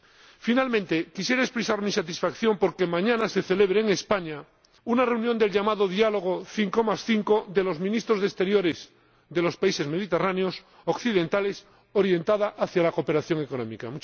Por último, quisiera expresar mi satisfacción por que mañana se celebre en España una reunión del llamado Diálogo 55 de los Ministros de Asuntos Exteriores de los países mediterráneos occidentales, orientada hacia la cooperación económica.